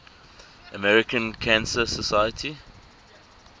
american cancer society